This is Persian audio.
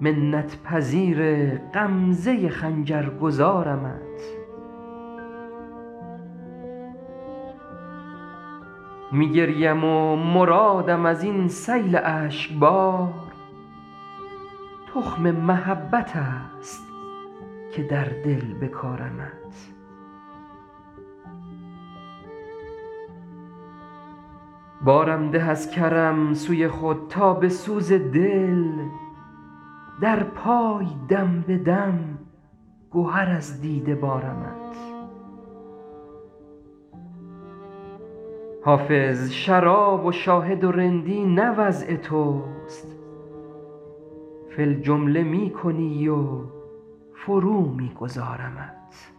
منت پذیر غمزه خنجر گذارمت می گریم و مرادم از این سیل اشک بار تخم محبت است که در دل بکارمت بارم ده از کرم سوی خود تا به سوز دل در پای دم به دم گهر از دیده بارمت حافظ شراب و شاهد و رندی نه وضع توست فی الجمله می کنی و فرو می گذارمت